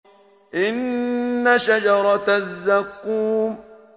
إِنَّ شَجَرَتَ الزَّقُّومِ